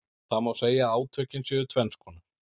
Það má segja að átökin séu tvenns konar.